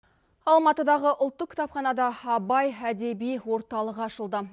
алматыдағы ұлттық кітапханада абай әдеби орталығы ашылды